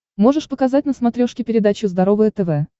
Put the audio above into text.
можешь показать на смотрешке передачу здоровое тв